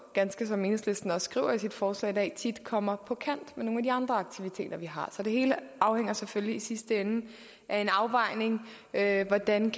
ganske som enhedslisten også skriver i sit forslag i dag tit kommer på kant med nogle af de andre aktiviteter vi har så det hele afhænger selvfølgelig i sidste ende af en afvejning af hvordan